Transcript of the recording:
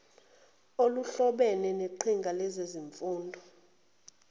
oluhlobene neqhinga lezemfundo